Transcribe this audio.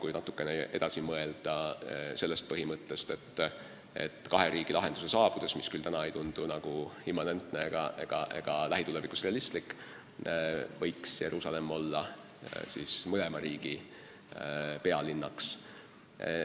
Kui natukene sellest põhimõttest edasi mõelda, siis kahe riigi lahenduse korral, mis küll täna ei tundu immanentne ega lähitulevikus realistlik, võiks Jeruusalemm olla mõlema riigi pealinn.